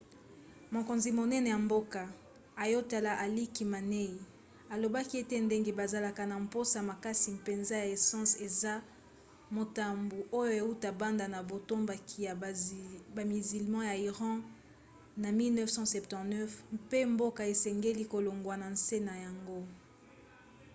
mokonzi monene ya mboka ayatollah ali khamenei alobaki ete ndenge bazalaka na mposa makasi mpenza ya essence eza motambu oyo euta banda na botomboki ya bamizilma ya iran na 1979 mpe mboka esengeli kolongwa na nse na yango